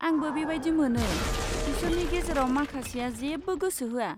आंबो बेबायदि मोनो, बिसोरनि गेजेराव माखासेआ जेबो गोसो होआ।